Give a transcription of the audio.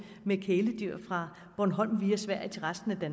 med kæledyr fra bornholm via sverige til resten af